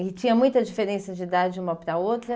E tinha muita diferença de idade uma para a outra?